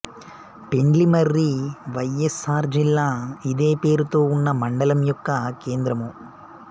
పెండ్లిమర్రి వైఎస్ఆర్ జిల్లా ఇదే పేరుతో ఉన్న మండలం యొక్క కేంద్రము